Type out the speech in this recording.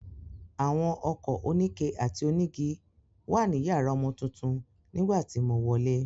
Àwọn ọkọ̀ oníke àti onígi wà ní yàrá ọmọ tuntun nígbà tí mo wọlé.